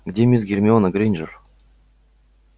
где мисс гермиона грэйнджер